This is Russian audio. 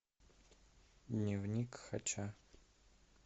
дневник хача